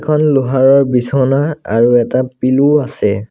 এখন লোহাৰৰ বিচনা আৰু এটা পিল্ল' আছে।